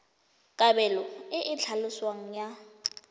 kabelo e e tlhaloswang ya